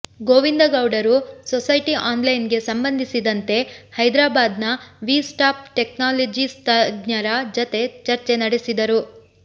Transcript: ಗೋವಿಂದಗೌಡರು society ಆನ್ಲೈನ್ಗೆ ಸಂಬಂಧಿಸಿದಂತೆ ಹೈದರಾಬಾದ್ನ ವಿ ಸಾಫ್ಟ್ ಟೆಕ್ನಾಲಜೀಸ್ ತಜ್ಞರ ಜತೆ ಚರ್ಚೆ ನಡೆಸಿದರು